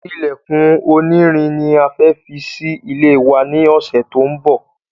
Ilèkùn oní irin ni a fẹ́ fi sí ilé wa ní ọsẹ to n bò